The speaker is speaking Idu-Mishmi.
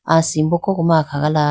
asimbo koko ma akhaga la.